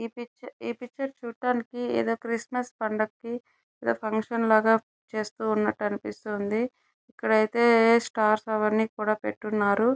ఈ పిక్చర్ ఈ పిక్చర్ చూడటానికి ఏదో క్రిస్మస్ పండకేకే ఏదో ఫంక్షన్ లాగా చేస్తూ ఉన్నటు అనిపిస్తుంది ఇక్కడైతే స్టార్స్ అవన్నీ కూడా పెట్టిఉన్నారు.